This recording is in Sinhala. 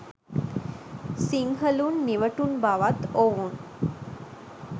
සිංහලුන් නිවටුන් බවත් ඔවුන්